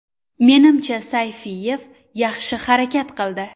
Menimcha Sayfiyev yaxshi harakat qildi.